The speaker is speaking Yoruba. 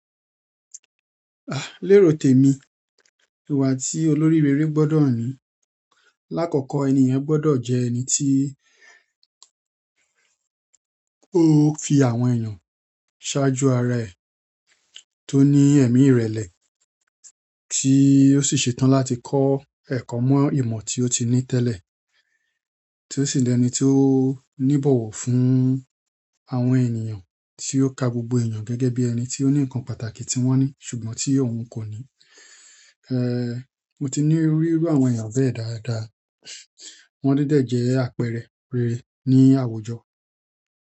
Lérò tèmi, ìwà tí olórí rere gbọ́dọ̀ ní. Lákọ̀ọ́kọ́, ẹni yẹn gbọ́dọ̀ jẹ́ ẹni tí ó fi àwọn ènìyàn ṣáájú ara ẹ̀, tó ní ẹ̀mí ìrẹ̀lẹ̀, tí ó sì ṣe tán láti kọ ẹ̀kọ́ mọ́ ìmọ̀ tí ó ti ní tẹ́lẹ̀, tí ó sì jẹ́ ẹni tí ó níbọ̀wọ̀ fún àwọn ènìyàn, tí ó ka gbogbo èèyàn gẹ́gẹ́ bí ẹni tí ó ní nǹkan pàtàkì tí wọ́n ní ṣùgbọ́n tí òun kò ní. Mo ti ni irú àwọn èèyàn bẹ́yẹn dáadáa. Wọ́n dẹ̀ jẹ́ àpẹẹrẹ rere ní àwùjọ.